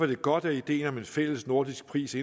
det godt at ideen om en fællesnordisk pris